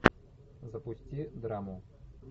запусти драму